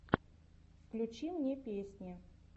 включи мне песни